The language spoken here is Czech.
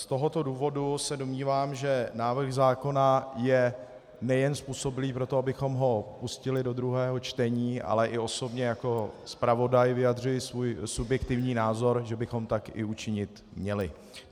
Z tohoto důvodu se domnívám, že návrh zákona je nejen způsobilý pro to, abychom ho pustili do druhého čtení, ale i osobně jako zpravodaj vyjadřuji svůj subjektivní názor, že bychom tak i učinit měli.